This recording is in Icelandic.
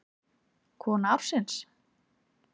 Kona ársins?